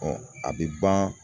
a bi ban.